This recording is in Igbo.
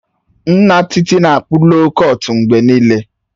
Nna Titi na-akpụ loo kọtụ mgbe niile